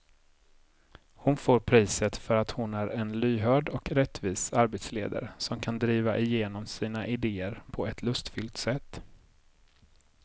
Hon får priset för att hon är en lyhörd och rättvis arbetsledare som kan driva igenom sina idéer på ett lustfyllt sätt.